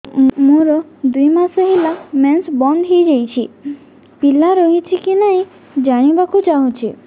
ମୋର ଦୁଇ ମାସ ହେଲା ମେନ୍ସ ବନ୍ଦ ହେଇ ଯାଇଛି ପିଲା ରହିଛି କି ନାହିଁ ଜାଣିବା କୁ ଚାହୁଁଛି